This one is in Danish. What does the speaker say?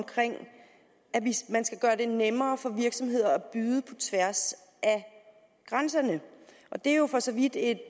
man skal gøre det nemmere for virksomheder at byde på tværs af grænserne det er jo for så vidt et